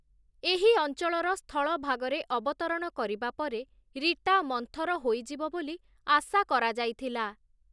ଏହି ଅଞ୍ଚଳର ସ୍ଥଳଭାଗରେ ଅବତରଣ କରିବା ପରେ ରୀଟା ମନ୍ଥର ହୋଇଯିବ ବୋଲି ଆଶା କରଯାଇଥିଲା ।